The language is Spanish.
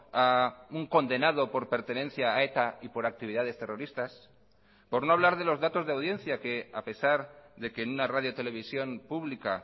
a un condenado por pertenencia a eta y por actividades terroristas por no hablar de los datos de audiencia que a pesar de que en una radio televisión pública